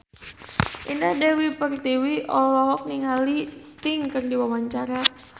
Indah Dewi Pertiwi olohok ningali Sting keur diwawancara